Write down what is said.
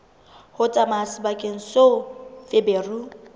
ho tsamaya sebakeng seo feberu